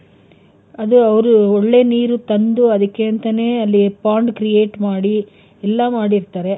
ಅದು ಅವ್ರು ಒಳ್ಳೆ ನೀರು ತಂದು ಅದಕೆ ಅಂತಾನೆ ಅಲ್ಲಿ pond create ಮಾಡಿ ಎಲ್ಲಾ ಮಾಡಿರ್ತಾರೆ.